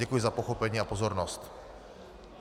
Děkuji za pochopení a pozornost.